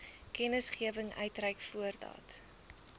kennisgewing uitreik voordat